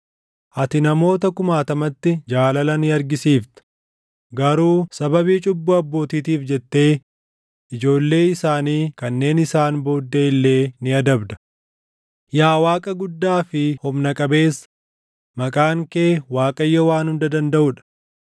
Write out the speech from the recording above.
Ati namoota kumaatamatti jaalala ni argisiifta; garuu sababii cubbuu abbootiitiif jettee ijoollee isaanii kanneen isaan booddee illee ni adabda. Yaa Waaqa guddaa fi humna qabeessa maqaan kee Waaqayyo Waan Hunda Dandaʼu dha;